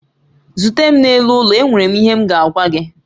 Zute m n'elu ụlọ, enwere m ihe m ga-agwa gị